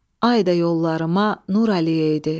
Ay da yollarıma nur ələyəydi.